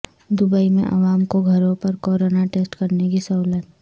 Dubai میں عوا م کو گھروں پر کورونا ٹسٹ کرنے کی سہولت